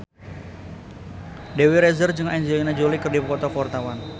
Dewi Rezer jeung Angelina Jolie keur dipoto ku wartawan